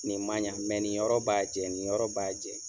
Nin man ɲa nin yɔrɔ b'a jɛn nin yɔrɔ b'a jɛn.